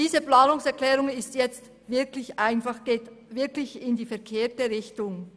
Diese Planungserklärung geht also wirklich in die verkehrte Richtung.